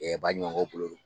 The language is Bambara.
Ɛɛ baɲumankɛw bolo